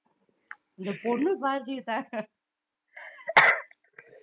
இந்த பொண்ணு